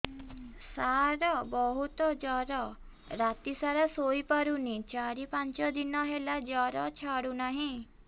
ସାର ବହୁତ ଜର ରାତି ସାରା ଶୋଇପାରୁନି ଚାରି ପାଞ୍ଚ ଦିନ ହେଲା ଜର ଛାଡ଼ୁ ନାହିଁ